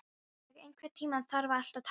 Thea, einhvern tímann þarf allt að taka enda.